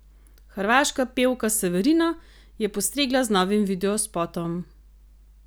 Hrvaška pevka Severina je postregla z novim videospotom.